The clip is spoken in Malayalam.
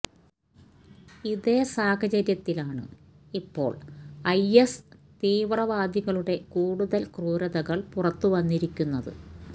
ഇതേ സാഹചര്യത്തിലാണ് ഇപ്പോൾ ഐഎസ്് തീവ്രവാദികളുടെ കൂടുതൽ ക്രൂതരകൾ പുറത്തു വന്നിരിക്കുന്നത്